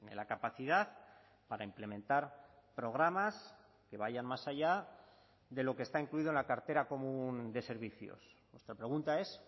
la capacidad para implementar programas que vayan más allá de lo que está incluido en la cartera común de servicios nuestra pregunta es